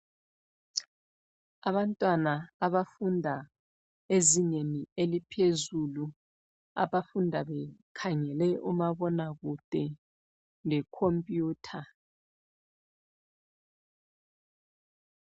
Abantwana abafunda ezingeni eliphezulu, abafunda bekhangele uma bonakude le computer.